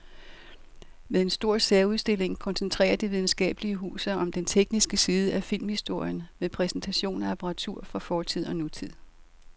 Med en stor særudstilling koncentrerer det videnskabelige hus sig om den tekniske side af filmhistorien med præsentation af apparatur fra fortid og nutid.